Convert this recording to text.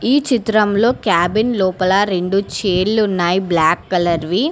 ఈ చిత్రంలో క్యాబిన్ లోపల రెండు చైర్లున్నాయి బ్లాక్ కలర్ వి.